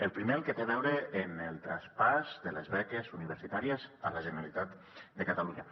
el primer el que té a veure amb el traspàs de les beques universitàries a la generalitat de catalunya